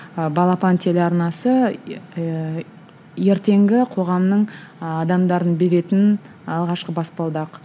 ы балапан телеарнасы ыыы ертеңгі қоғамның ы адамдардың беретін алғашқы баспалдақ